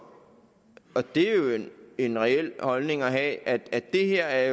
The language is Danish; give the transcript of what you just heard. og det er jo en reel holdning at have at det her er